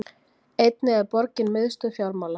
einnig er borgin miðstöð fjármála